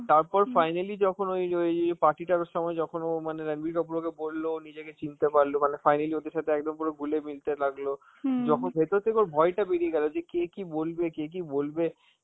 তারপর finally যখন ওই যে ওই party টার সময় যখন ও মানে রাণবীর কাপুর ওকে বলল, ও নিজেকে পারলো, মানে finally ওদের সাথে একদম পুরো গুলে মিলতে লাগলো, যখন ভেতর থেকে ওর ভয়টা বেরিয়ে গেল কে কি বলবে,